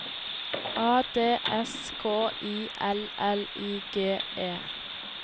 A D S K I L L I G E